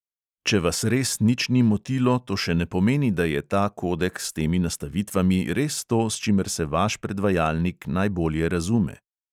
Če vas res nič ni motilo, to še ne pomeni, da je ta kodek s temi nastavitvami res to, s čimer se vaš predvajalnik najbolje razume.